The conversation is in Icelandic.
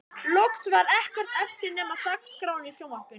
Loks var ekkert eftir nema dagskráin í sjónvarpinu